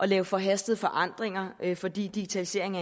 lave forhastede forandringer fordi digitalisering